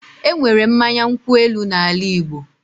Enwere mmanya nkwu elu na ala Igbo